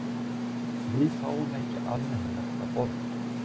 Við fáum ekkert almennilegt að borða